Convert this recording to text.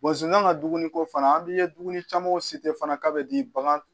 zonzan ka dumuni ko fana an bi ye dumuni camanw fana k'a bɛ di bagan